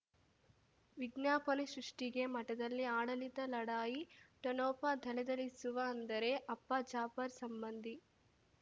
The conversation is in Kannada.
ವಿಜ್ಞಾಪನೆ ಸೃಷ್ಟಿಗೆ ಮಠದಲ್ಲಿ ಆಡಳಿತ ಲಢಾಯಿ ಠೊಣಪ ಥಳಥಳಿಸುವ ಅಂದರೆ ಅಪ್ಪ ಜಾಫರ್ ಸಂಬಂಧಿ